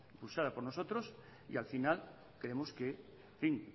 impulsadas por nosotros y al final creemos que en fin